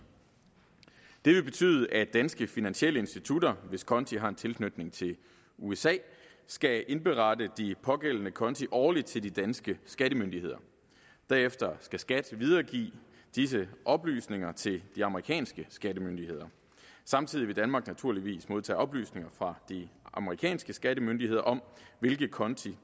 det vil betyde at danske finansielle institutter hvis konti har en tilknytning til usa skal indberette de pågældende konti årligt til de danske skattemyndigheder derefter skal skat videregive disse oplysninger til de amerikanske skattemyndigheder samtidig vil danmark naturligvis modtage oplysninger fra de amerikanske skattemyndigheder om hvilke konti